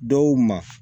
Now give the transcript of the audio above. Dɔw ma